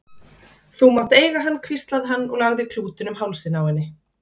Þú mátt eiga hann hvíslaði hann og lagði klútinn um hálsinn á henni.